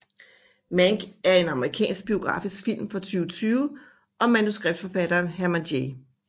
Mank er en amerikansk biografisk film fra 2020 om manuskriptforfatteren Herman J